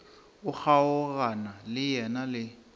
o kgaogana le yena le